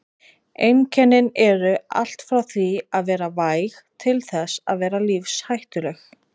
Einkennin eru allt frá því að vera væg til þess að vera lífshættuleg.